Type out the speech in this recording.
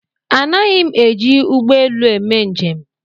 Anaghi m eji ụgbọelu eme njem